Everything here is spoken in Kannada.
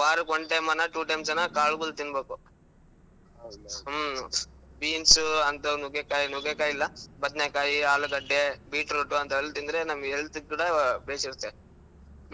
ವಾರಕ್ಕ್ one time ಅನ two times ಅನ ಕಾಳುಗಳು ತಿನ್ನ್ಬೇಕು. beans ಅಂಥವು ನುಗ್ಗೆಕಾಯಿ ಇಲ್ಲಾ ಬದ್ನೇಕಾಯಿ, ಆಲೂಗಡ್ಡೆ, beetroot ಅಂತವೆಲ್ಲಾ ತಿಂದ್ರೆ ನಮ್ helth ಇಗ್ ಕೂಡಾ